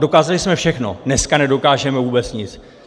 Dokázali jsme všechno, dneska nedokážeme vůbec nic.